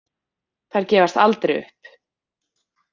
Þær gefast aldrei upp.